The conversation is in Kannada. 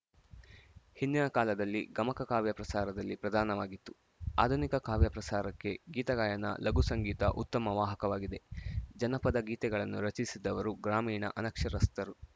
ಹಿಂದಿನ ಕಾಲದಲ್ಲಿ ಗಮಕ ಕಾವ್ಯ ಪ್ರಸಾರದಲ್ಲಿ ಪ್ರಧಾನವಾಗಿತ್ತುಆಧುನಿಕ ಕಾವ್ಯ ಪ್ರಸಾರಕ್ಕೆ ಗೀತಗಾಯನ ಲಘು ಸಂಗೀತ ಉತ್ತಮ ವಾಹಕವಾಗಿವೆ ಜನಪದ ಗೀತೆಗಳನ್ನು ರಚಿಸಿದವರು ಗ್ರಾಮೀಣ ಅನಕ್ಷರಸ್ಥರು